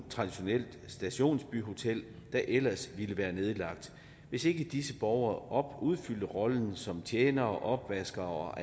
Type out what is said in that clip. stationsbyhotel der ellers ville være nedlagt hvis ikke disse borgere udfyldte rollen som tjenere opvaskere og